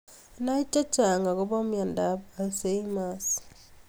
Nai chechang akobaa myandaa ab alzhemiers